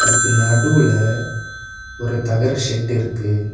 இதுக்கு நடுவுல ஒரு தகர ஷெட்டு இருக்கு.